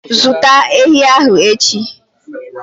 Zụta ehi ahụ echi!